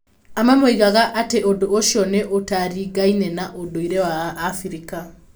Amwe moigaga atĩ ũndũ ũcio nĩ ũtaringaine na ũndũire wa Abirika.